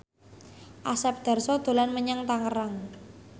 Asep Darso dolan menyang Tangerang